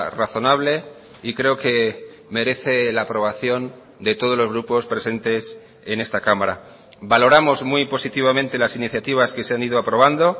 razonable y creo que merece la aprobación de todos los grupos presentes en esta cámara valoramos muy positivamente las iniciativas que se han ido aprobando